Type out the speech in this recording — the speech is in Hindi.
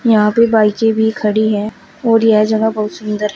यहां पे बाईकें भी खड़ी है और यह जगह बहुत सुंदर है।